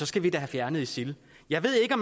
skal vi da have fjernet isil jeg ved ikke